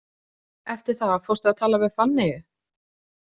Eftir það fórstu að tala við Fanneyju?